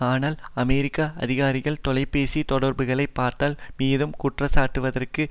ஆனால் அமெரிக்க அதிகாரிகள் தொலைபேசி தொடர்புகளை பார்த்ததில் மீது குற்றம் சாட்டுவதற்கு